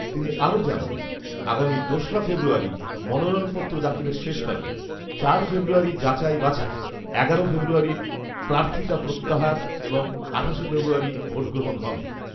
তিনি আরো জানান, আগামী দোসরা ফেব্রুয়ারি মনোনয়নপত্র দাখিলের শেষ তারিখ, চার ফেব্রুয়ারি যাচাই বাছাই, এগারোই ফেব্রুয়ারি প্রার্থিতা প্রত্যাহার এবং আঠাশে ফেব্রুয়ারি ভোটগ্রহণ হবে